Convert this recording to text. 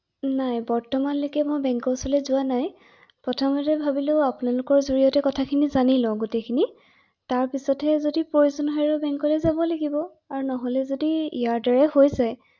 নাই বৰ্তমানলৈকে মই বেংকৰ ফালে যোৱা নাই৷প্ৰথমতে ভাবিলো আপোনালোকৰ জৰিড়তে কথা খিনি জানি লওঁ গোটেইখিনি ৷তাৰপিছতহে যদি প্ৰয়োজন হয় বেংকলৈ যাব লাগিব আৰু নহ’লে যদি ইয়াৰ দ্বাৰা হৈ যায় ৷